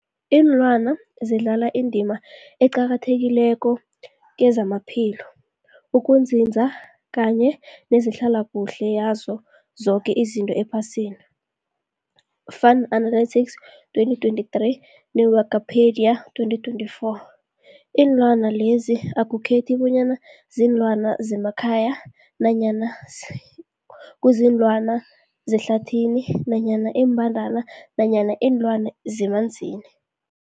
Ilwana zidlala indima eqakathekileko kezamaphilo, ukunzinza kanye nezehlala kuhle yazo zoke izinto ephasini, Fuanalytics 2023, ne-Wikipedia 2024. Iinlwana lezi akukhethi bonyana ziinlwana zemakhaya nanyana kuziinlwana zehlathini nanyana iimbandana nanyana iinlwana zemanzini.